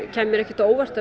kæmi mér ekki á óvart